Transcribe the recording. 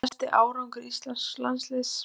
Besti árangur íslensks landsliðs